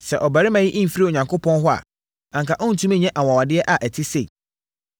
sɛ ɔbarima yi mfiri Onyankopɔn hɔ a, anka ɔrentumi nyɛ anwanwadeɛ a ɛte sei.”